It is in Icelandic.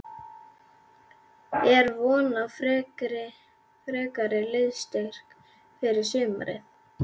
Er von á frekari liðsstyrk fyrir sumarið?